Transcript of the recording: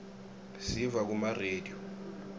siyiva kuma rediyo